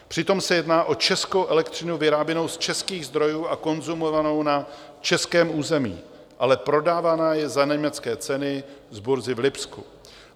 Přitom se jedná o českou elektřinu vyráběnou z českých zdrojů a konzumovanou na českém území, ale prodávaná je za německé ceny z burzy v Lipsku.